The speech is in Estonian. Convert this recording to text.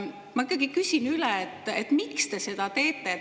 Ma küsin üle: miks te seda teete?